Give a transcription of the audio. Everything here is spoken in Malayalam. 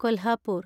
കൊൽഹാപൂർ